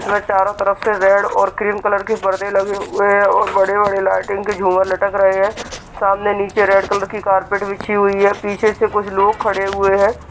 वे चारों तरफ से रेड और क्रीम कलर के पर्दे लगे हुए हैं और बड़े-बड़े लाइटिंग के झूमर लटक रहे हैं | सामने नीचे रेड कलर की कार्पेट बिछी हुई है | पीछे से कुछ लोग खड़े हुए हैं ।